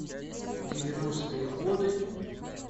девяностые годы